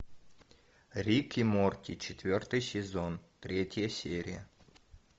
рик и морти четвертый сезон третья серия